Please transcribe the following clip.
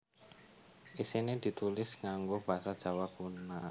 Isiné ditulis nganggo basa Jawa Kuna